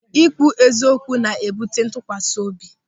Ị kwụ eziokwu na-ebute ntụkwasị obi.